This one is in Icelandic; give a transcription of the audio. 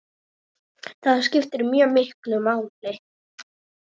Það skiptir mjög miklu máli.